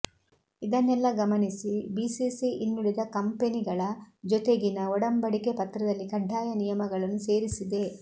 ಇದನ್ನೆಲ್ಲಾ ಗಮನಿಸಿ ಬಿಸಿಸಿ ಇನ್ನುಳಿದ ಕಂಪೆನಿಗಳ ಜೊತೆಗಿನ ಒಡಂಬಡಿಕೆ ಪತ್ರದಲ್ಲಿ ಕಡ್ಡಾಯ ನಿಯಮಗಳನ್ನು ಸೇರಿಸಿದೆ